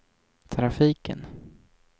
trafiken